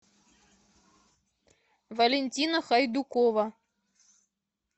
валентина хайдукова